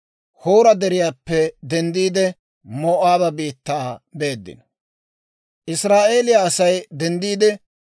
Israa'eeliyaa Asay denddiide, Oboota giyaa saan dunkkaaneeddino.